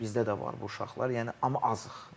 Bizdə də var bu uşaqlar, yəni amma azıq.